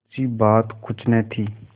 मुंशीबात कुछ न थी